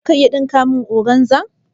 Za ka iya ɗinka min organza?